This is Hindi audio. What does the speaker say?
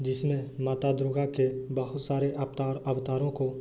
जिसमे माता दुर्गा के बहुत सारे अवतार अवतारों को --